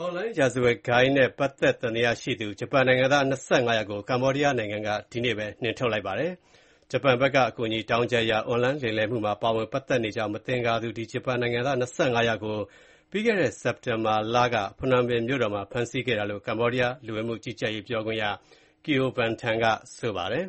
အွန်လိုင်း ရာဇဝတ်ဂိုဏ်းတွေနဲ့ ပတ်သက်တယ်လို့ သံသယရှိသူ ဂျပန်နိုင်ငံသား ၂၅ ယောက်ကို ကမ္ဘောဒီးယား နိုင်ငံက ဒီကနေ့ပဲ နှင်ထုတ်လိုက်ပါတယ်။ ဂျပန်အာဏာပိုင်တွေရဲ့ အကူအညီ တောင်းခံချက်အရ အွန်လိုင်း လိမ်လည်မှုတွေမှာ ပါဝင်ပတ်သက်နေတယ်လို့ မသင်္ကာသူ ဂျပန်နိုင်ငံသား ၂၅ ယောက်ကို ပြီးခဲ့တဲ့ စက်တင်ဘာလက ဖနွမ်ပင် မြို့တော်မှာ ဖမ်းဆီးခဲ့တာလို့လည်း ကမ္ဘောဒီးယား လူဝင်မှုကြီးကြပ်ရေးဌာန ပြောခွင့်ရပုဂ္ဂိုလ် Keo Vanthan ကို ကိုးကားပြီး AFP သတင်းက